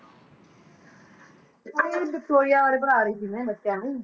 ਉਹੀ ਵਿਕਟੋਰੀਆ ਬਾਰੇ ਪੜ੍ਹਾ ਰਹੀ ਸੀ ਮੈਂ ਬੱਚਿਆਂ ਨੂੰ।